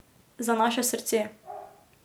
Za naše srce.